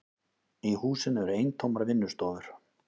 Í húsinu eru eintómar vinnustofur.